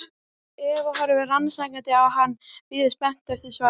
Eva horfir rannsakandi á hann, bíður spennt eftir svari.